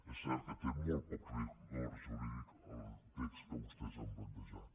és cert que té molt poc rigor jurídic el text que vostès han plantejat